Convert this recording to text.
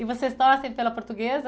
E vocês torcem pela portuguesa?